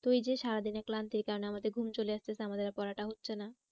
ওই যে সারাদিনের ক্লান্তির কারণে আমাদের ঘুম চলে আসতেছে আমাদের আর পড়াটা হচ্ছে না।